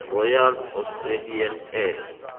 royal australian air